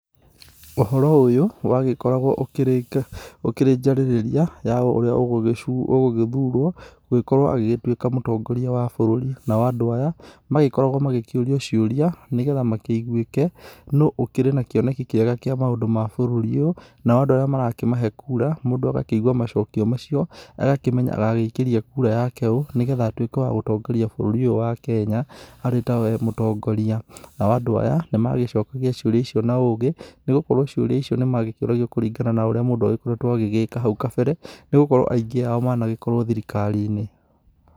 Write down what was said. Ũhoro ũyũ wa gĩkoragwo ũkĩrĩ njarĩrĩria ya ũrĩa ũgũgĩthurwo gũkorwo agĩgĩtuĩka mũtongoria wa bũrũri. Nao andũ aya magĩkoragwo magĩkĩũria ciũria nĩ getha makĩiguĩke nũũ ũkĩrĩ na kĩoneki kĩega kĩa maũndũ ma bũrũri ũyũ. Nao andũ arĩa marakĩmahe kura mũndũ agakiigua macokio macio. Agakĩmenya agaikĩria kura yake ũũ niu getha atuĩke wa gũtongoria bũrũri ũyũ wa Kenya arĩ ta we mũtongoria. Nao andũ aya nĩ magĩcokagia ciũria icio na ũgĩ, nĩ gũkorwo ciũria icio nĩmagĩkĩũragio kũringana na ũrĩa mũndũ agĩgĩka hau kabere, nĩ gũkorwo aingĩ ao managĩkorwo thirikari-inĩ.